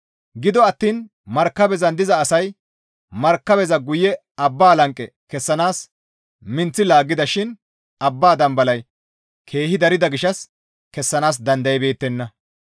Gido attiin markabezan diza asay markabeza guye abba lanqe kessanaas minththi laaggida shin abba dambalay keehi darida gishshas kessanaas dandaybeettenna.